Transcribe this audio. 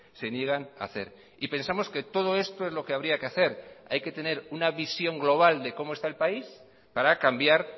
se niegan a hacer y pensamos que todo esto es lo que habría que hacer hay que tener una visión global de cómo está el país para cambiar